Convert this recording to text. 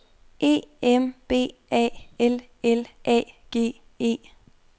E M B A L L A G E